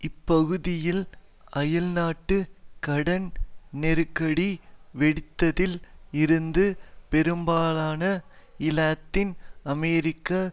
இப்பகுதியில் அயல்நாட்டு கடன் நெருக்கடி வெடித்ததில் இருந்து பெரும்பாலான இலத்தீன் அமெரிக்க